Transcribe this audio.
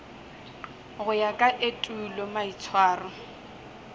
go ya ka etulo maitshwaro